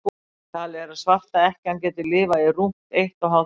talið er að svarta ekkjan geti lifað í rúmt eitt og hálft ár